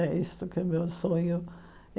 É isto que é o meu sonho.